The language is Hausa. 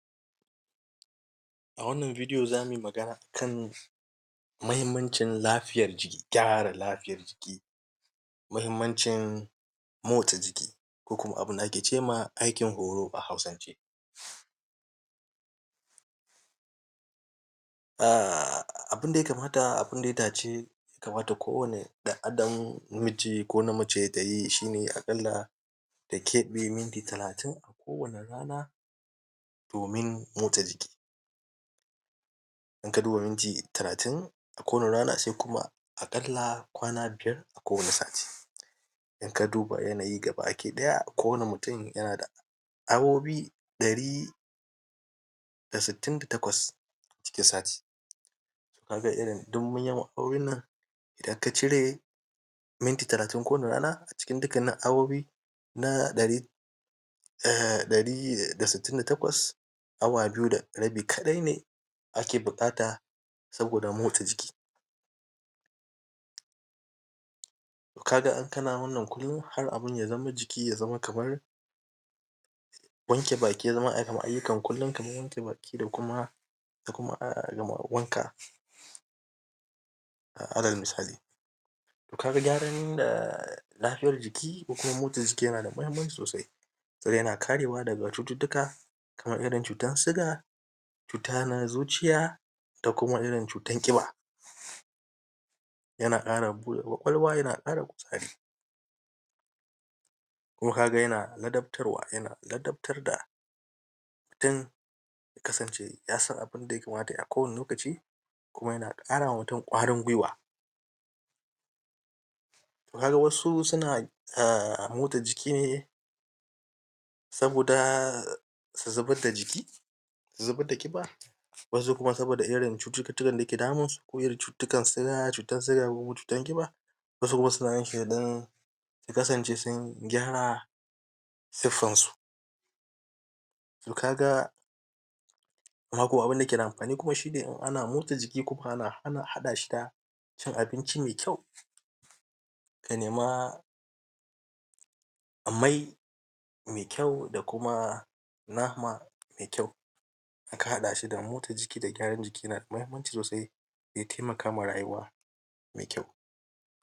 A wannan bidiyo za mu yi magana a kan muhimmancin lafiyar jiki, gyara lafiyar jiki, muhimmancin motsa jiki ko kuma abin da ake ce ma aikin horo a Hausance. Um Abin da ya kamata abin da ya dace ya kamata kowane ɗan'adam, miji ko namace, ta yi shi ne aƙalla ta keɓe minti talatin kowane rana domin motsa jiki. In ka duba minti talatin a kowane rana sai kuma aƙalla kwana biyar a kowane sati. In ka duba yanayi gabaki ɗaya kowane mutum yana da awowi ɗari da sittin da takwas cikin sati. Ka ga irin dumin yawan awowin nan idan ka cire minti talatin kowane rana a cikin dukkanin awowi na ɗari um ɗari da sittin da takwas awa biyu da rabi kaɗai ne ake buƙata saboda motsa jiki. To ka ga in kana wannan kullum har abin ya zama jiki ya zama kamar wanke baki ya zama kamar ayyukan kullum kamar wanke baki da kuma da kuma a'a wanka, alal misali. To ka ga gyaran da lafiyar jiki ko kuma motsa jiki yana da muhimmanci sosai don yana karewa daga cututtuka kamar irin cutar suga, cuta na zuciya da kuma irin cutar ƙiba; yana ƙara buɗa ƙwaƙwalwa, yana ƙara kuzari. Kuma ka ga yana ladabtarwa yana ladabtar da don ya kasance ya san abin da ya kamata ya yi a kowane lokaci kuma yana ƙara wa mutum ƙwarin gwiwa. To ka ga wasu suna um motsa jiki ne saboda su zubar da jiki su zubar da ƙiba, wasu kuma saboda irin cututtukan da suke damunsu ko irin cututtukan suga ko cutan ƙiba. Wasu kuma suna yin shi don su kasance sun gyara siffansu. To ka ga abin da ke da amfani kuma shi ne in ana motsa jiki koko ana ana haɗa shi da cin abinci mai kyau. Ka nema mai mai kyau da kuma nama mai kyau in ka haɗa shi da motsa jiki da gyaran jiki yana da muhimmanci sosai. Za ai taimaka ma rayuwa mai kyau.